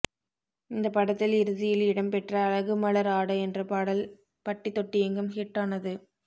இந்த படத்தில் இறுதியில் இடம் பெற்ற அழகு மலர் ஆட என்ற பாடல் பட்டி தொட்டி எங்கும் ஹிட் ஆனது